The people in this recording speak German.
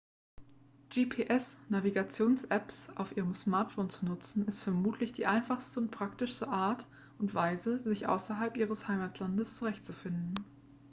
gps-navigationsapps auf ihrem smartphone zu nutzen ist vermutlich die einfachste und praktischste art und weise sich außerhalb ihres heimatlandes zurechtzufinden